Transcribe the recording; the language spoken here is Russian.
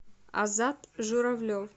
азат журавлев